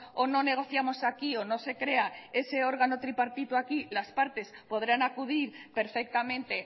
o no negociamos aquí o no se crea ese órgano tripartito aquí las partes podrán acudir perfectamente